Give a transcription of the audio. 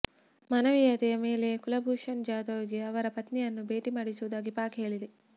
ಮಾನವೀಯತೆ ಮೇಲೆ ಕುಲಭೂಷಣ್ ಜಾಧವ್ ಗೆ ಅವರ ಪತ್ನಿಯನ್ನು ಭೇಟಿ ಮಾಡಿಸುವುದಾಗಿ ಪಾಕ್ ಹೇಳಿದೆ